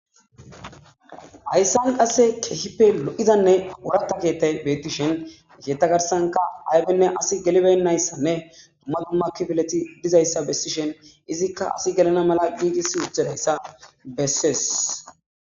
Haysa qase kehippe lo'iza oratha kethay bettishe pizza aybine asi gelibeyissane dumma dumma kifiley dizaysa besishin izzika garsanka asiy gelana mala gigisi wothidaysa beses